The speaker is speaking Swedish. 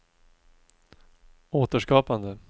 återskapande